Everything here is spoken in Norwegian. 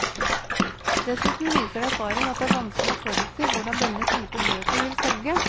Dessuten viser erfaring at det er vanskelig å forutsi hvordan denne type bøker vil selge.